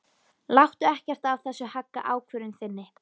Láttu ekkert af þessu hagga ákvörðun þinni.